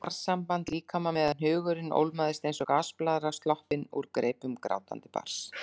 Eitthvað jarðsamband líkama meðan hugurinn ólmast eins og gasblaðra sloppin úr greipum grátandi barns.